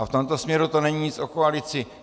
A v tomto směru to není nic o koalici.